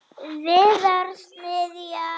Víðars niðja.